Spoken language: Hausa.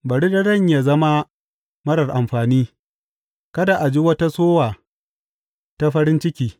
Bari daren yă zama marar amfani; kada a ji wata sowa ta farin ciki.